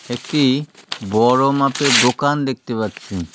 একটি বড়ো মাপের দোকান দেখতে পাচ্ছি।